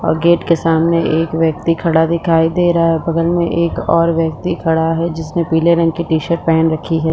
और गेट के सामने एक व्यक्ति खड़ा दिखाई दे रहा है बगल में एक और व्यक्ति खड़ा है जिसने पीले रंग की टी शर्ट पहन रखी है।